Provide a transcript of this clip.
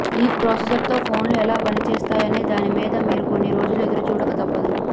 ఈ ప్రాసెసర్ తో ఫోన్లు ఎలా పనిచేస్తాయనే దాని మీద మీరు కొన్ని రోజులు ఎదురుచూడక తప్పదు